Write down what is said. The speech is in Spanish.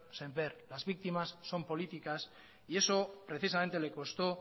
semper las víctimas son políticas y eso precisamente le costó